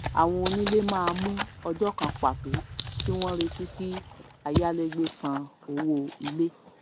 àwọn onílé máá mú ọjó kan pàtó tí wón retí kí ayálégbé san owò ilé